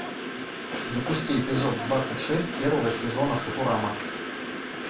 запусти эпизод двадцать шесть первого сезона футурама